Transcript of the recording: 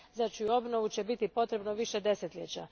Znači, za obnovu će biti potrebno više desetljeća.